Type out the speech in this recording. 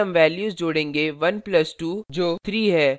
फिर हम values जोडेंगे 1 plus 2 जो 3 है